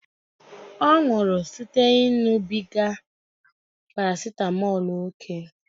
Ọ nwụrụ site na ịṅụbiga parasitamọl ókè